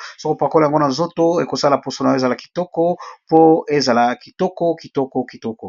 yango okomaka kitoko.